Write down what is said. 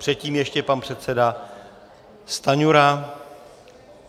Předtím ještě pan předseda Stanjura.